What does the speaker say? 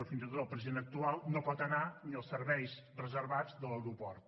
o fins i tot el president actual no pot anar ni als serveis reservats de l’aeroport